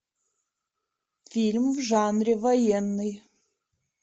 фильм в жанре военный